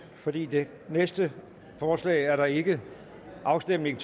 for det næste forslag er der ikke afstemning